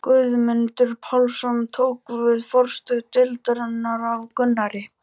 Guðmundur Pálmason tók við forstöðu deildarinnar af Gunnari.